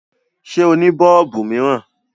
Ṣé o ní bọọlubu miiran?